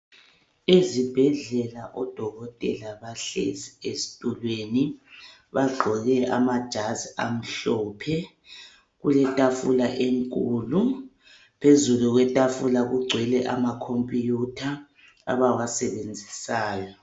Esibhedlela odokotela bahlezi ezithulweni. Bagqoke amajasi amhlophe. Kule thafula enkulu. Phezulu kethafula kugcwele amakhomphuyutha abawasebenzisayo.